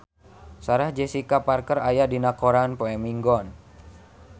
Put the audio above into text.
Sarah Jessica Parker aya dina koran poe Minggon